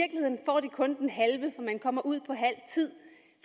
kun den halve for man kommer ud på halv tid